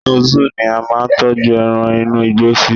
inú zoo ni a ma n tọju eran inú igbó sí